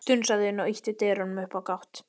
Strunsaði inn og ýtti dyrunum upp á gátt.